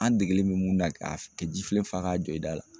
An degelen bɛ mun na ka kɛ ji filen fa k'a jɔ i da la